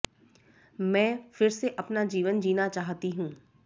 मैं फिर से अपना जीवन जीना चाहती हूं